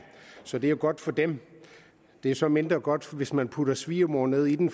så det er godt for dem det er så mindre godt hvis man putter svigermor ned i den